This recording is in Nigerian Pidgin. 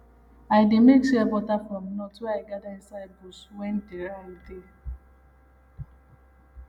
i dey make shea butter from nut wey i gather inside bush when dry dey